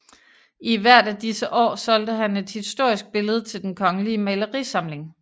I hvert af disse år solgte han et historisk billede til Den Kongelige Malerisamling